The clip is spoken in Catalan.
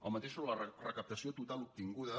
el mateix sobre la recaptació total obtinguda